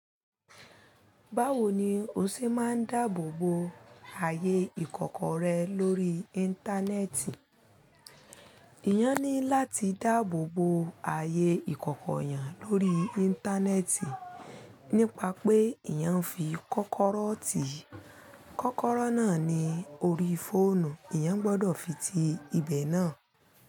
Báwo ni o ṣe máa ń dáàbò bo ààyè ìkọ̀kọ̀ rẹ lórí Íńtánẹ́ẹ̀tì? Ìyẹn ní láti dáàbò bo ààyè ìkọ̀kọ̀ eyan lórí Íńtánẹ́ẹ̀tì nípa pé ìyẹn fi kókoró ti kókoró náà ní orí fóònù, eeyan gbọdọ̀ fi ti ibẹ̀ náà.